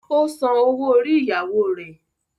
Ó san owó orí ìyàwó rẹ̀.